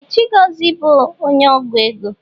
Ee! Chigọzie bụ onye ọgwụ ego.